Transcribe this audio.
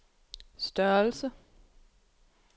størrelse